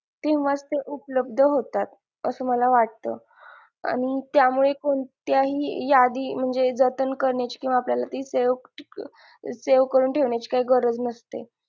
तेव्हाच ते उपलब्द होतात असं मला वाटत आणि त्यामुळे कोणत्याही यादी म्हणजे जतन करण्याची किंवा आपल्याला ती save save करून ठेवण्याची काही गरज नसते.